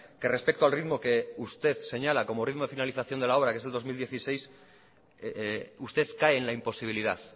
que respecto al ritmo que usted señala como ritmo de finalización de la obra que es el dos mil dieciséis usted cae en la imposibilidad